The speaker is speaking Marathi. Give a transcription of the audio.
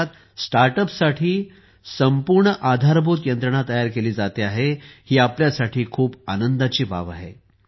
देशात स्टार्टअपसाठी संपूर्ण आधारभूत यंत्रणा तयार केली जाते आहे ही आपल्यासाठी खूप आनंदाची बाब आहे